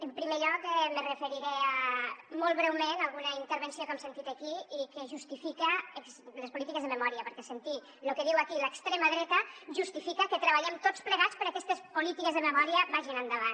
en primer lloc me referiré molt breument a alguna intervenció que hem sentit aquí i que justifica les polítiques de memòria perquè sentir lo que diu aquí l’extrema dreta justifica que treballem tots plegats perquè aquestes polítiques de memòria vagin endavant